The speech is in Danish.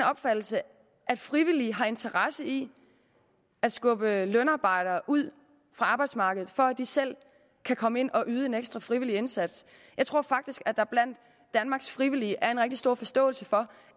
opfattelse at frivillige har interesse i at skubbe lønarbejdere ud af arbejdsmarkedet for at de selv kan komme ind og yde en ekstra frivillig indsats jeg tror faktisk at der blandt danmarks frivillige er en rigtig stor forståelse for